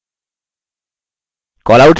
callouts क्या हैं